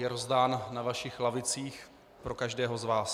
Je rozdán na vašich lavicích pro každého z vás.